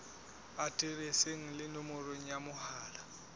aterese le nomoro ya mohala